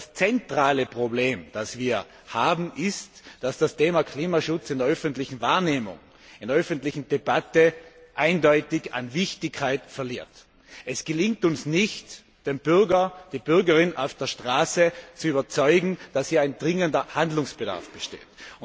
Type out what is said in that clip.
Das zentrale Problem, das wir haben, ist, dass das Thema Klimaschutz in der öffentlichen Wahrnehmung, in der öffentlichen Debatte eindeutig an Wichtigkeit verliert. Es gelingt uns nicht, die Bürgerinnen und Bürger auf der Straße zu überzeugen, dass hier ein dringender Handlungsbedarf besteht.